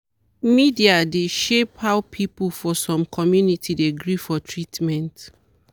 media dey shape how people for some community dey gree for treatment.